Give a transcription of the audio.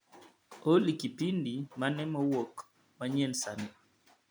Olly kipindi mane mowuok manyien sani